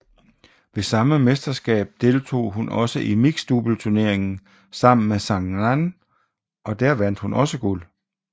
Ved samme mesterskab deltog hun også i mixed doubleturneringen sammen med Zhang Nan og der vandt hun også guld